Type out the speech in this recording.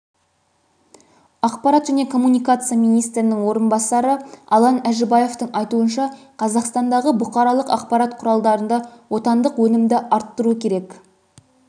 ақпарат және коммуникация министрінің орынбасары алан әжібаевтың айтуынша қазақстандағы бұқаралық ақпарат құралдарында отандық өнімді арттыру керек